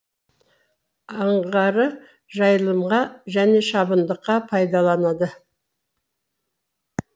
аңғары жайылымға және шабындыққа пайдаланады